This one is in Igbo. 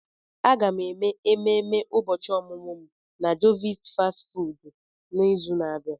Aga m eme ememe ụbọchị ọmụmụ m na jovit fastị fụụdụ n'izu na-abịa.